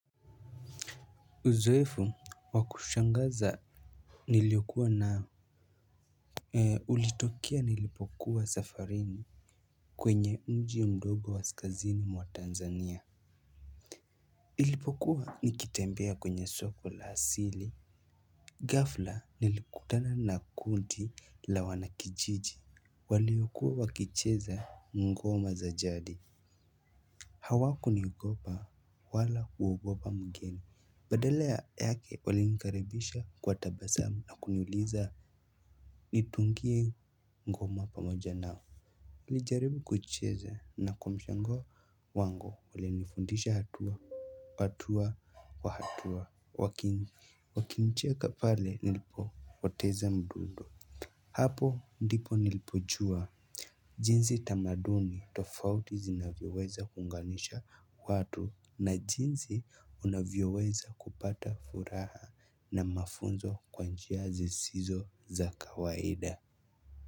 Uzoefu wakushangaza niliyokuwa nao. Ulitokea nilipokuwa safarini. Kwenye mji mdogo kaskazini mwa Tanzania Nilipokuwa nikitembea kwenye soko la hasili ghafla nilikutana na kundi la wanakijiji. Waliokuwa wakicheza ngoma za jadi. Hawakuniogopa wala kuogopa mgeni. Badala ya yake walinikaribisha kwa tabasamu na kuniuliza nitungie ngoma pamoja nao. Nilijaribu kuicheza na kwa mshangao wangu walinifundisha hatua hatua wa hatua wakinicheka pale nilipopoteza mdundo. Hapo ndipo nilipojua jinsi tamaduni tofauti zinavyoweza kuunganisha watu na jinsi unavyoweza kupata furaha na mafunzo kwa njia zisizo za kawaida.